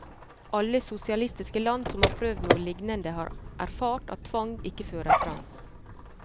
Alle sosialistiske land som har prøvd noe lignende, har erfart at tvang ikke fører frem.